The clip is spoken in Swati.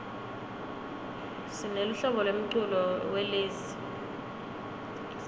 sineluhlobo lemculo welezi